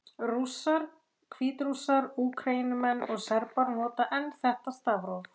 Rússar, Hvítrússar, Úkraínumenn og Serbar nota enn þetta stafróf.